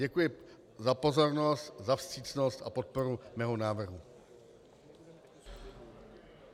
Děkuji za pozornost, za vstřícnost a podporu mého návrhu.